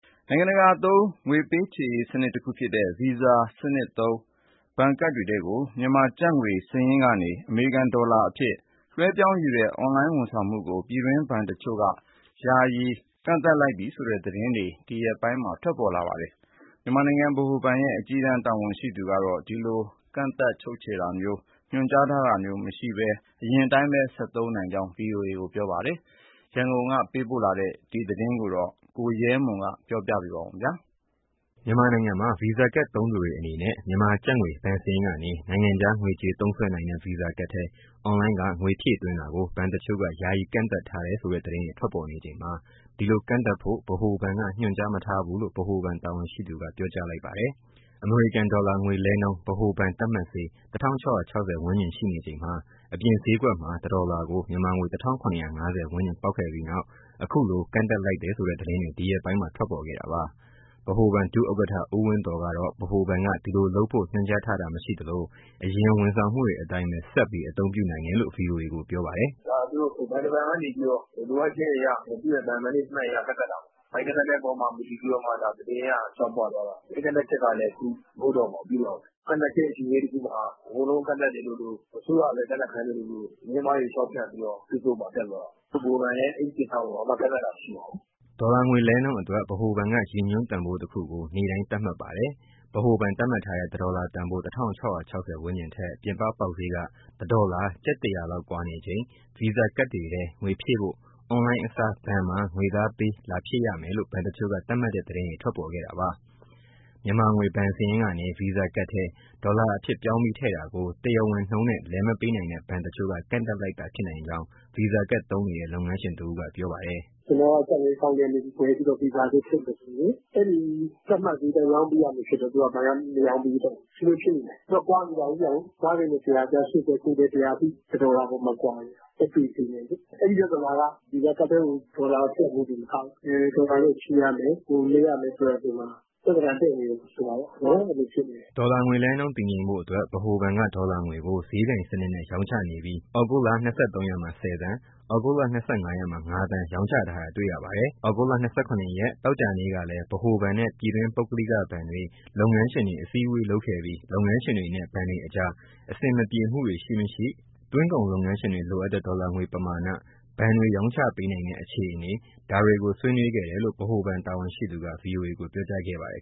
နိုင်ငံတကာသုံး ငွေပေးချေစနစ်တခုဖြစ်တဲ့ Visa စနစ်သုံး ဘဏ်ကဒ်တွေထဲကို မြန်မာကျပ်ငွေစာရင်းကနေ အမေရိကန်ဒေါ်လာအဖြစ် လွှဲပြောင်းယူတဲ့ အွန်လိုင်းဝန်ဆောင်မှုကို ပြည်တွင်းဘဏ်တချို့က ယာယီကန့်သတ်လိုက်ပြီဆိုတဲ့ သတင်းတွေ ဒီရက်ပိုင်းထွက်ပေါ်ခဲ့ပါတယ်။ မြန်မာနိုင်ငံဗဟိုဘဏ်ရဲ့ အကြီးတန်း တာဝန်ရှိသူကတော့ ဒီလိုကန့်သတ်ဖို့ ညွန်ကြားမထားဘဲ အရင်အတိုင်းပဲ ဆက်ပြီးအသုံးပြုနိုင်မယ်လို့ ဗွီအိုအေကို ပြောပါတယ်။ ရန်ကုန်ကလာတဲ့ ဒီသတင်းကိုတော့ ဗွီအိုအေသတင်းထောက် ကိုရဲမွန် က ပြောပြမှာပါ။ မြန်မာနိုင်ငံမှာ ဗီဇာကဒ်သုံးသူတွေအနေနဲ့ မြန်မာကျပ်ငွေ ဘဏ်စာရင်းကနေ နိုင်ငံခြားငွေကြေးသုံးစွဲနိုင်တဲ့ ဗီဇာကဒ်ထဲ အွန်လိုင်းက ငွေဖြည့်သွင်းတာကို ဘဏ်တချို့က ယာယီကန့်သတ် ထားတယ်ဆိုတဲ့သတင်းတွေ ထွက်ပေါ်နေချိန်မှာ ဒီလိုကန့်သတ်ဖို့ ဗဟိုဘဏ်က ညွန်ကြား မထားဘူးလို့ ဗဟိုဘဏ်တာဝန်ရှိသူက ပြောကြားလိုက်ပါတယ်။ အမေရိကန်ဒေါ်လာငွေလဲနှုန်း ဗဟိုဘဏ်သတ်မှတ်ဈေး ၁၆၆၀ ဝန်းကျင်ရှိနေချိန် အပြင်ဈေးကွက်မှာ တဒေါ်လာကို မြန်မာငွေ ၁၇၅၀ ဝန်းကျင်ပေါက်ခဲ့ပြီးနောက် အခုလို ကန့်သတ်လိုက်တယ်ဆိုတဲ့ သတင်းတွေ ဒီရက်ပိုင်းမှာ ထွက်ပေါ်ခဲ့တာပါ။ ဗဟိုဘဏ်ဒုဥက္ကဋ္ဌ ဦးဝင်းသော်ကတော့ ဗဟိုဘဏ်က ဒီလိုလုပ်ဖို့ ညွှန်ကြားထားတာမရှိသလို၊ အရင် ဝန်ဆောင်မှုတွေအတိုင်းပဲ ဆက်ပြီး အသုံးပြုနိုင်တယ်လို့ ဗွီအိုအေကို ပြောပါတယ်။ “ ဒါ ဘဏ်တဘဏ်ကနေပြီးတော့ လိုအပ်ချက်အရ သူ့ရဲ့ဘဏ် management အရ ကန့်သတ်တာပါ။ အဲဒီကန့်သတ်တဲ့အပေါ်မှာ မူတည်ပြီးမှ သတင်းက လျှောက်ပွသွားတာ။ အဲဒီကန့်သတ်ချက်ကလည်းအခု မဟုတ်တော့ပါဘူး။ ပြီးသွားပါပြီ။ ကန့်သတ်တဲ့ အချိန်လေးတခုမှာ အကုန်လုံးကန့်သတ်သလိုလို၊ အစိုးရကပဲ ကန့်သတ်ခိုင်းသလိုလို၊ သတင်းအမှားတွေ လျှောက်ဖြန့်ပြီးတော့ ဖေ့စ်ဘွတ်မှာတက်သွားတာ။ ဗဟိုဘဏ်လည်း အဲဒီကိစ္စကို ကန့်သတ်တာ မရှိပါဘူး။” ဒေါ်လာငွေလဲနှုန်းအတွက် ဗဟိုဘဏ်က ရည်ညွှန်းတန်ဖိုးတခုကို နေ့တိုင်း သတ်မှတ်ပါတယ်။ ဗဟိုဘဏ်သတ်မှတ်ထားတဲ့ တဒေါ်လာတန်ဖိုး ၁၆၆၀ ဝန်းကျင်ထက် ပြင်ပပေါက်ဈေးက ၁ ဒေါ်လာ ကျပ် ၁ ရာလောက်ကွာနေချိန်၊ ဗီဇာကဒ်တွေထဲ ငွေဖြည့်ဖို့ အွန်လိုင်းအစား ဘဏ်မှာ ငွေသားပေး လာဖြည့်ရမယ်လို့ဘဏ်တချို့က သတ်မှတ်တဲ့သတင်းတွေ ထွက်ပေါ်ခဲ့တာပါ။ မြန်မာငွေ ဘဏ်စာရင်းကနေ ဗီဇာကတ်ထဲ ဒေါ်လာအဖြစ် ပြောင်းပြီးထည့်တာကို တရားဝင်နှုန်းနဲ့ လဲမပေးနိုင်တဲ့ ဘဏ်တချို့က ကန့်သတ်လိုက်တာ ဖြစ်နိုင်ကြောင်း ဗီဇာကတ်သုံးနေတဲ့ လုပ်ငန်းရှင်တဦးက ပြောပြပါတယ်။ “ ကျနော်က ကျပ်ငွေအကောင့်ထဲကနေဝယ်ပြီး ဗီဇာထဲထည့်မယ်ဆိုရင် အဲဒီသတ်မှတ်ဈေးအတိုင်း ရောင်းပေးရမလိုဖြစ်တော့ သူကဘဏ်က မရောင်းပေးတော့ဘူး။ ဒီလိုဖြစ်လိမ့်မယ်။ ကွာနေတာကိုး၊ ၅၀-၁၀၀ ကြား ၈၀-၉၀-၁၀၀ အထိ တဒေါ်လာအပေါ်မှာ ကွာနေတာကိုး လက်တွေ့ဈေးနဲ့လေ။ အဲဒီပြဿနာက ဗီဇာကတ်ထဲကို ဒေါ်လာထည့်ဖို့တင်မကဘူး ဒေါ်လာနဲ့ချေရတယ်၊ လဲရမယ်ဆိုတာတွေမှာ ပြဿနာ တက်နေတယ်ဆိုပါတော့ အဲလိုဖြစ်နေတယ်။” ဒေါ်လာငွေလဲနှုန်း တည်ငြိမ်ဖို့အတွက် ဗဟိုဘဏ်က ဒေါ်လာငွေကို ဈေးပြိုင်စနစ်နဲ့ ရောင်းချနေပြီး ဩဂုတ်လ ၂၃ ရက်မှာ ၁၀ သန်း၊ ဩဂုတ်လ ၂၅ ရက်မှာ ၅ သန်း ရောင်းချထားတာတွေ့ရပါတယ်။ ဩဂုတ်လ ၂၇ ရက်မှာ သောကြာနေ့ကလည်း ဗဟိုဘဏ်နဲ့ ပြည်တွင်းပုဂ္ဂလိကဘဏ်တွေ၊ လုပ်ငန်းရှင်တွေ အစည်းအဝေးလုပ်ခဲ့ပြီး လုပ်ငန်းရှင်တွေနဲ့ ဘဏ်တွေအကြား အဆင်မပြေမှုတွေရှိမရှိ၊ သွင်းကုန်လုပ်ငန်းရှင်တွေလိုအပ်တဲ့ ဒေါ်လာငွေပမာဏ၊ ဘဏ်တွေရောင်းပေးနိုင်တဲ့ အခြေအနေ ဒါတွေကိုဆွေးနွေးခဲ့တယ်လို့ ဗဟိုဘဏ်တာဝန်ရှိသူက ဗွီအိုအေကို ပြောကြားခဲ့ပါတယ်